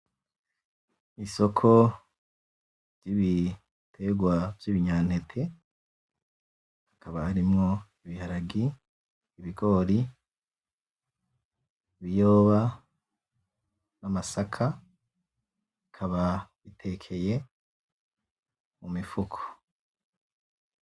Isoko ryi'bitegwa vy'ibinyanete hakaba harimwo; ibiharage, ibigori, ibiyoba, n'amasaka, bikaba bitekeye mumifuko.